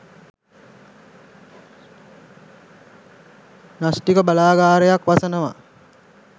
න්‍යෂ්ටික බලාගාරයක් වසනවා